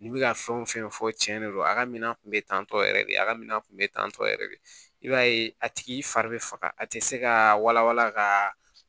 N'i bɛ ka fɛn wo fɛn fɔ cɛn de don a ka minan kun bɛ tantɔ yɛrɛ de a ka minɛn kun bɛ tan tɔ yɛrɛ de i b'a ye a tigi fari bɛ faga a tɛ se ka walawala ka